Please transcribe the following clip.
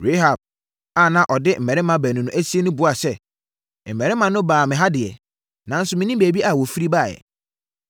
Rahab a na ɔde mmarima baanu no asie no buaa sɛ, “Mmarima no baa me ha deɛ, nanso mennim baabi a wɔfiri baeɛ.